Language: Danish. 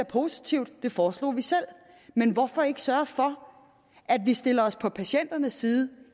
positivt det foreslog vi selv men hvorfor ikke sørge for at vi stiller os på patienternes side